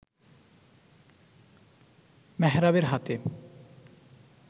মেহরাবের হাতে